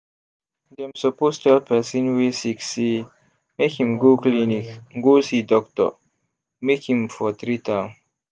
dem suppose tell person wey sick say make im go clinic go see doctor make im for treat am